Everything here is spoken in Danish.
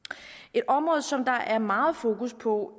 et område som der er meget fokus på